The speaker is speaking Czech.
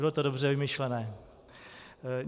Bylo to dobře vymyšleno.